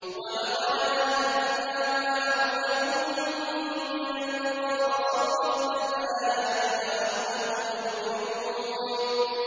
وَلَقَدْ أَهْلَكْنَا مَا حَوْلَكُم مِّنَ الْقُرَىٰ وَصَرَّفْنَا الْآيَاتِ لَعَلَّهُمْ يَرْجِعُونَ